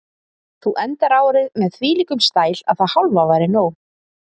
Þú endar árið með þvílíkum stæl að það hálfa væri nóg.